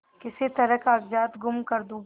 किसी तरह कागजात गुम कर दूँ